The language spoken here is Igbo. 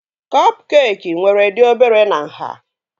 Kọp keekị nwere dị obere na nhá